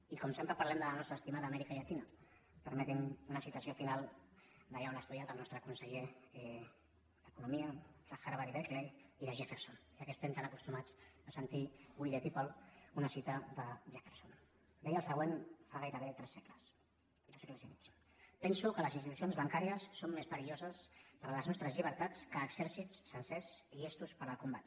i com que sempre parlem de la nostra estimada amèrica llatina permetin me una citació final d’allà on ha estudiat el nostre conseller d’economia de harvard i berkeley i de jefferson ja que estem tant acostumats a sentir we el següent fa gairebé tres segles dos segles i mig penso que les institucions bancàries són més perilloses per les nostres llibertats que exèrcits sencers llestos per al combat